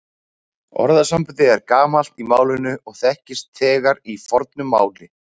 Orðasambandið er gamalt í málinu og þekkist þegar í fornu máli.